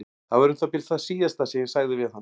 Það var um það bil það síðasta sem ég sagði við hann.